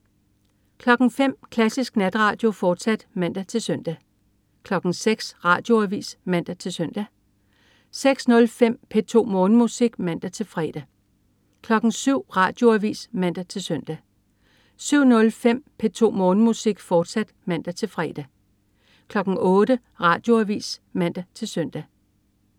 05.00 Klassisk Natradio, fortsat (man-søn) 06.00 Radioavis (man-søn) 06.05 P2 Morgenmusik (man-fre) 07.00 Radioavis (man-søn) 07.05 P2 Morgenmusik, fortsat (man-fre) 08.00 Radioavis (man-søn)